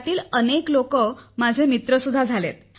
त्यातील अनेक लोक माझे मित्र सुद्धा झाले आहेत